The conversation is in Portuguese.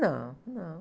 Não, não.